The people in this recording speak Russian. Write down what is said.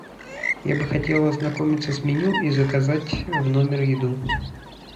я бы хотел ознакомиться с меню и заказать в номер еду